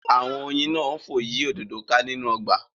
Awọn oyin náà fò yí òdodo ká nínú ọgba